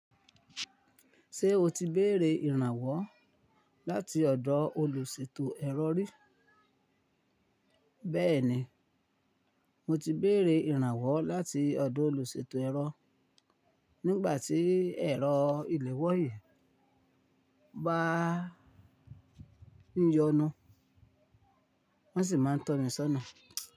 Ṣé o ti béèrè ìrànwọ́ láti ọ̀dọ̀ olùṣètò ẹ̀rọ rí? Béẹ̀ni, mo ti béèrè ìrànwọ́ láti ọ̀dọ̀ olùṣètò ẹ̀rọ. Nígbà tí ẹ̀rọ ìléwọ́ yìí bá ń yọnu, wọ́n sì máa ń tọ́ mi sọ́nà.